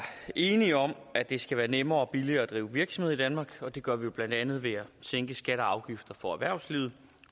enige om at det skal være nemmere og billigere at drive virksomhed i danmark og det gør vi jo blandt andet ved at sænke skatter og afgifter for erhvervslivet